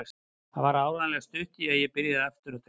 Það var áreiðanlega stutt í að ég byrjaði aftur að drekka.